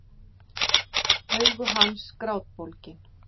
Augu hans grátbólgin.